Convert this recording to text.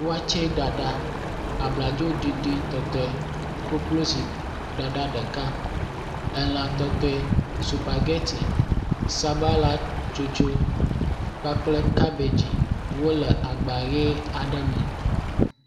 Watseɖaɖa, abladzoɖiɖitɔtɔe, kokloziɖaɖa ɖeka, elã tɔtɔe, sukpagɛti, sabalatsotso kpakple kabedzi wole agba ʋe aɖe me.